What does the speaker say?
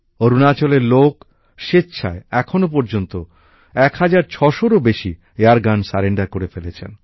অরুণাচলের লোক স্বেচ্ছায় এখনো পর্যন্ত ১৬০০র ও বেশি এয়ারগান জমা দিয়ে ফেলেছেন